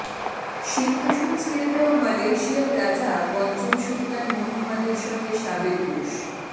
সিংহাসন ছেড়ে দেওয়া মালয়েশিয়ার রাজা পঞ্চম সুলতান মোহাম্মদের সঙ্গে সাবেক রুশ